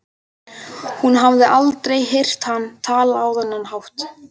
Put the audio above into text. Hún hafði aldrei heyrt hann tala á þennan hátt.